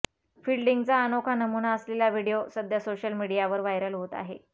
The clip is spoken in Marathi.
फिल्डिंगचा अनोखा नमुना असलेला व्हिडिओ सध्या सोशल मीडियावर व्हायरल होत आहे